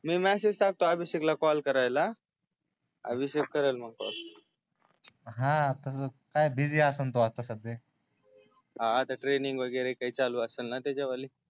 मी message टाकतो अभिषेक ला call करायला अभिषेक करेल मग कॉल ह तस काय आता बीजी असेल तो आता सध्या हा आता हा ट्रेनिंग वैगेरे काई चालू असेल ना त्याची वाली